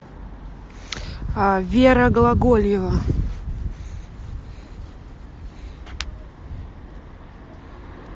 вера глаголева